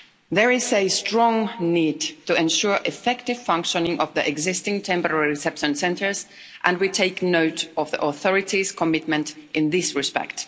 There is a strong need to ensure effective functioning of the existing temporary reception centres and we take note of the authorities' commitment in this respect.